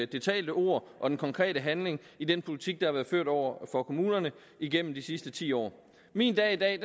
det talte ord og den konkrete handling i den politik der har været ført over for kommunerne igennem de sidste ti år min dag i dag